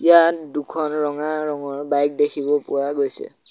ইয়াত দুখন ৰঙা ৰঙৰ বাইক দেখিব পোৱা গৈছে।